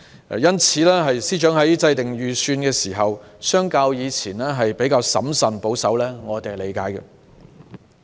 因此，司長在制訂預算的時候相較以前審慎保守，我們能夠理解。